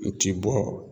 U ti bɔ